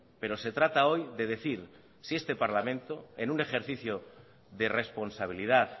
pero se trata hoy de decir si este parlamento en un ejercicio de responsabilidad